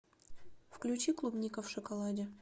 включи клубника в шоколаде